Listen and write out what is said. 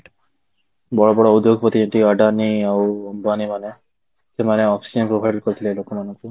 ବଡ ବଡ ଉଦ୍ୟୋଗପତି ଯେମିତିକି ଅଦାନୀ ଆଉ ଅମ୍ବାନୀ ମାନେ ସେମାନେ oxygen provide କରିଥିଲେ ଲୋକ ମାନଙ୍କୁ